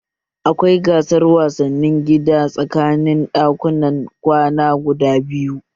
Akwai gasar wasanni gida tsakanin ɗakunan kwana guda biyu